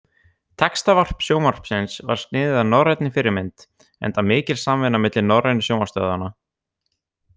Textavarp Sjónvarpsins var sniðið að norrænni fyrirmynd enda mikil samvinna milli norrænu sjónvarpsstöðvanna.